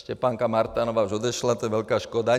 Štěpánka Martanová už odešla, to je velká škoda.